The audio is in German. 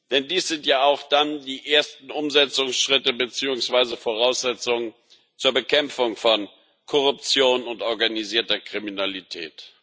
Denn dies sind ja auch dann die ersten Umsetzungsschritte beziehungsweise Voraussetzungen zur Bekämpfung von Korruption und organisierter Kriminalität.